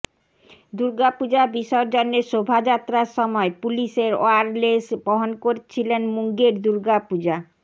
দুর্গাপূজা বিসর্জনের শোভাযাত্রার সময় পুলিশের ওয়্যারলেশ বহন করছিলেন মুঙ্গের দুর্গাপূজা